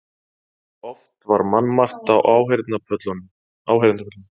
Oft var mannmargt á áheyrendapöllunum.